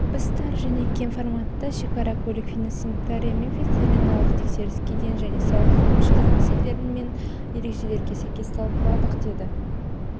біз тар және кең форматта шекара көлік фитосанитария мен ветеринариялық тексеріс кеден және салық әкімшілігі мәселелерін пен ережелеріне сәйкес талқыладық деді